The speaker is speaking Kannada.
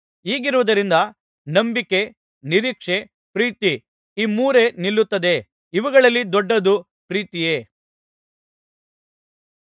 ಹೀಗಿರುವುದರಿಂದ ನಂಬಿಕೆ ನಿರೀಕ್ಷೆ ಪ್ರೀತಿ ಈ ಮೂರೇ ನಿಲ್ಲುತ್ತದೆ ಇವುಗಳಲ್ಲಿ ದೊಡ್ಡದು ಪ್ರೀತಿಯೇ